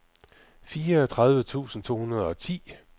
fireogtredive tusind to hundrede og ti